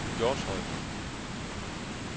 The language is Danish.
Hjortshøj